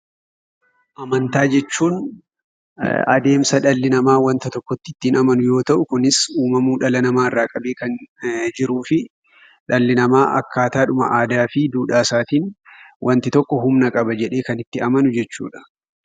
Amantaa jechuun adeemsa dhalli namaa waanta tokkotti ittiin amanu, yoo ta'u, kunis uumamuu dhala namaa irraa kaasee jiruu fi akkaataadhuma aadaa fi duudhaa isaanitti waanti tokko humna qaba jedhanii itti amanuu jechuudha.